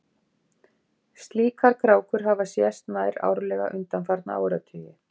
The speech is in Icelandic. slíkar krákur hafa sést nær árlega undanfarna áratugi